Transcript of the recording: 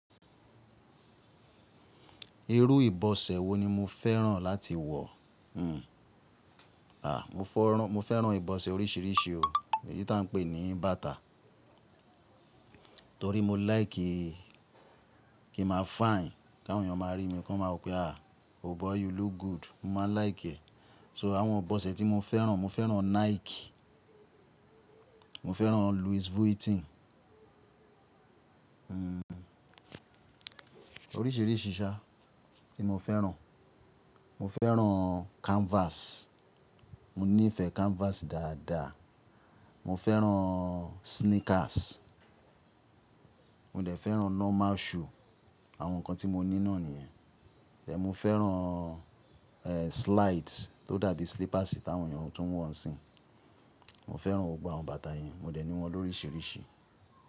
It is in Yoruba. Irú ìbọ̀sẹ̀ wo ni mo fẹ́ràn láti wọ̀? Hmm, à, mo fẹ́ràn ìbọ̀sẹ̀ oríṣiríṣi o, èyí ta ń pè ní bàtà. Torí mo like kí, kí ma fine, kí àwọn èèyàn máa rí mi kọ́ má wò pé, "Ah! Oh boy you look good." Mo máa like ẹ̀. So àwọn ìbọ̀sẹ̀ tí mo fẹ́ràn, mo fẹ́ràn Nike, mo fẹ́ràn Louis Vuitton. Hmm, oríṣiríṣi ṣá tí mo fẹ́ràn. Mo fẹ́ràn canvas, mo nífẹ̀ẹ́ canvas dáadáa. Mo fẹ́ràn sneakers, mo dẹ̀ fẹ́ràn normal shoe, àwọn nǹkan tí mo ní náà nìyẹn. Ẹ̀, mo fẹ́ràn, eeh slides tó dàbí slippers tí àwọn èèyàn tún wọ̀ń sì. Mo fẹ́ràn gbogbo àwọn bàtà yẹn, mo dẹ̀ ní wọ́n lóríṣiríṣi.